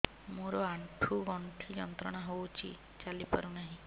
ମୋରୋ ଆଣ୍ଠୁଗଣ୍ଠି ଯନ୍ତ୍ରଣା ହଉଚି ଚାଲିପାରୁନାହିଁ